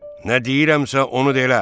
Nə deyirəmsə onu da elə.